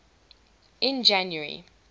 in january